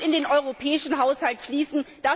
Die muss in den europäischen Haushalt fließen.